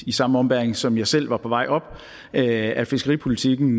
i samme ombæring som jeg selv var på vej op at fiskeripolitikken